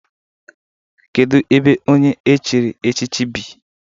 Kedu ebe onye echiri echichi bi?